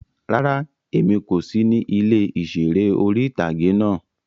Rárá, Emi ko si ni ile iṣere ori-itage náa